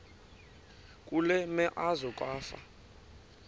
kule meazwe kwafa